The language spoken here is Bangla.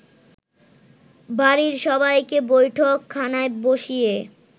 বাড়ির সবাইকে বৈঠকখানায় বসিয়ে